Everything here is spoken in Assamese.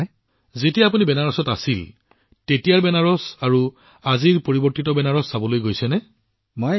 প্ৰধানমন্ত্ৰীঃ গতিকে আপুনি কেতিয়াবা সেই সময়ৰ বেনাৰস আৰু আজিৰ পৰিৱৰ্তিত বেনাৰস চাবলৈ গৈছে নেকি